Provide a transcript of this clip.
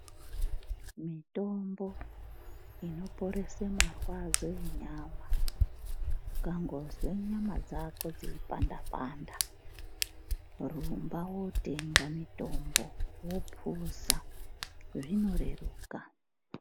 Mitombo inoporese marwadzo enyama. Ukangonzwa nyama dzako dzeyipandapanda, huromba wotenga mitombo wophuza, zvinoreruka.